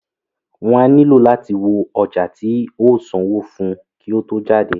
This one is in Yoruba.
Wọ́n á nílò láti wo ọjà tí o sanwó fún kí o tó jáde.